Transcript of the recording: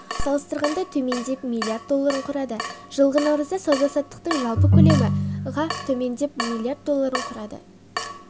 салыстырғанда төмендеп млрд долларын құрады жылғы наурызда сауда-саттықтың жалпы көлемі ға төмендеп млрд долларын құрады